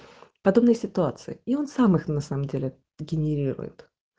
подобной ситуации и он сам их на самом деле генерирует